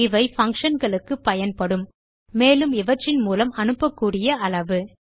இவை பங்ஷன் களுக்கு பயன்படும் மேலும் இவற்றின் மூலம் அனுப்பக்கூடிய அளவு